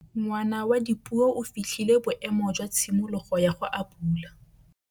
Ngwana wa Dipuo o fitlhile boêmô jwa tshimologô ya go abula.